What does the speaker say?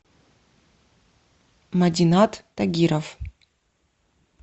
надинат тагиров